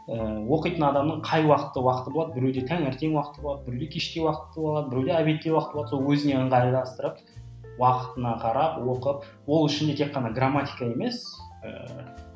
ыыы оқитын адамның қай уақытта уақыты болады біреуде таңертең уақыты болады біреуде кеште уақыты болады біреуде обедте уақыты болады сол өзіне ыңғайлыстырып уақытына қарап оқып ол үшін тек қана грамматика емес ыыы